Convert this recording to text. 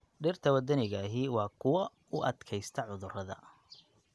Dhirta waddaniga ahi waa kuwo u adkaysta cudurrada.